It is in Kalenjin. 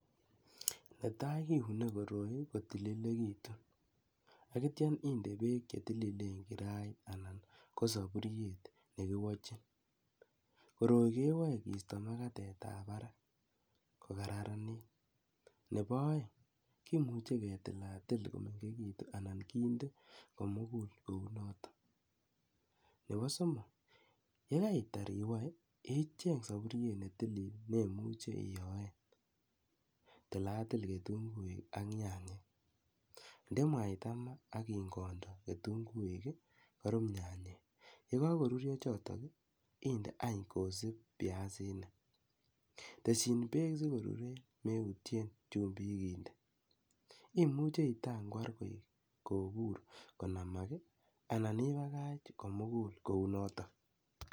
Nepa tai keune koroi kotililekitu. Atiam inde peek che tililen karait anan ko sapuriet ne kiwachin. Koroi kewae keista makatet ap parak ko kararanit. Nepo aeng' kimuchi ketil a til komengekitu anan kinde ko mugul kou notok. Nepo somok, ye kaitar iwae , icheng' sapuriet ne tilil ne imuchi iyoen. Tilatil kitunguik ak nyanyek, nde mwaita ma akiyany kondo kitunguik i, korup nyanyek. Ye kakorurya chotok i, inde any kosup piasinik. Teschin peek si koruryen, meutien chumbilk inde. Imuchi itangwar kopur konamak i anan ipakach komugul kou notok.